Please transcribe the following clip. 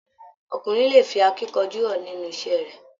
Ọkùnrin lè fí akínkanjú hàn nínú iṣẹ rẹ.